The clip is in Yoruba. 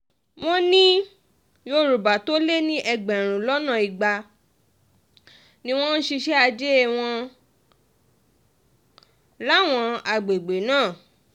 wọ́n ní yorùbá tó lé ní ẹgbẹ̀rún lọ́nà igba ni wọ́n ń ṣiṣẹ́ ajé wọn láwọn àgbègbè náà